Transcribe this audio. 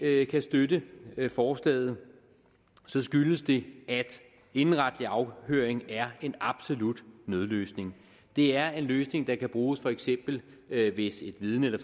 ikke kan støtte forslaget skyldes det at indenretlig afhøring er en absolut nødløsning det er en løsning der kan bruges for eksempel hvis et vidne eller